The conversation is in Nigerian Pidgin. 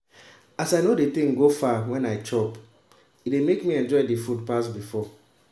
as i no de think go far when i dey chop e dey make me enjoy the food pass before